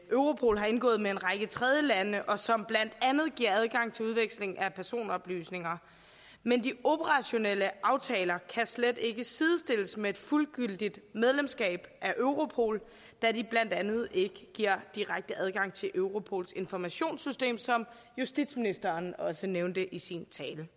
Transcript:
europol har indgået med en række tredjelande og som blandt andet giver adgang til udveksling af personoplysninger men de operationelle aftaler kan slet ikke sidestilles med et fuldgyldigt medlemskab af europol da de blandt andet ikke giver direkte adgang til europols informationssystem som justitsministeren også nævnte i sin tale